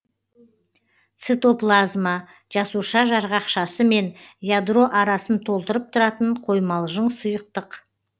цитоплазма жасуша жарғақшасы мен ядро арасын толтырып тұратын қоймалжың сұйықтық